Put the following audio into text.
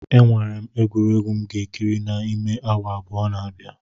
Enwere m egwuregwu m ga-ekiri n'ime awa abụọ na-abia.